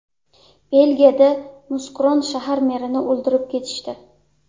Belgiyada Muskron shahar merini o‘ldirib ketishdi.